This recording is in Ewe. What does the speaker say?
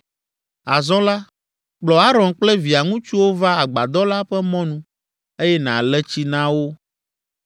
“Azɔ la, kplɔ Aron kple via ŋutsuwo va agbadɔ la ƒe mɔnu eye nàle tsi na wo.